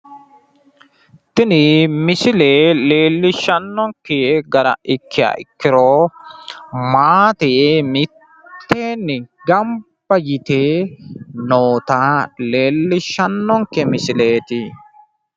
Tini misile leellishshannonke gara ikkiha ikkiro maate mitteenni gamba yite noota leellishshannonke misileeti.